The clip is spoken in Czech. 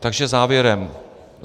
Takže závěrem.